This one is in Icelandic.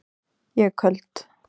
Ég er köld.